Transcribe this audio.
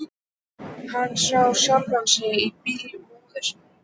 Hann sá sjálfan sig á bíl móður sinnar.